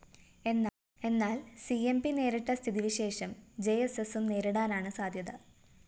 എന്നാല്‍ C M P നേരിട്ട സ്ഥിതിവിശേഷം ജെഎസ്എസും നേരിടാനാണ് സാദ്ധ്യത